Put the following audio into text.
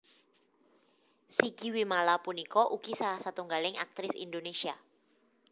Sigi Wimala punika ugi salah satunggaling aktris Indonésia